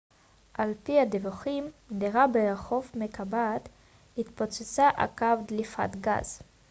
על פי הדיווחים דירה ברחוב מקבת התפוצצה עקב דליפת גז